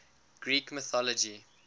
greek mythology